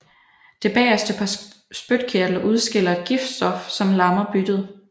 Det bageste par spytkirtler udskiller et giftstof som lammer byttet